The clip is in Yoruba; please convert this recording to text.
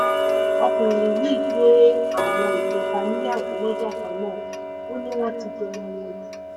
ọkùnrin yìí gbé gbé àwọn ìbẹ́ta níyàwó lọ́jọ́ kan náà ó ní wọ́n ti jọra wọn jù